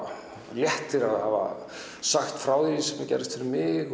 léttir að hafa sagt frá því sem gerðist fyrir mig